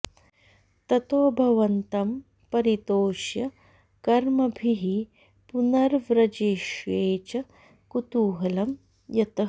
ततो भवन्तं परितोष्य कर्मभिः पुनर्व्रजिष्ये च कुतूहलं यतः